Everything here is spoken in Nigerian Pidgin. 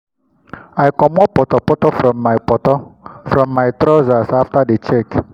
i comot potor potor from my potor from my trousers after the check.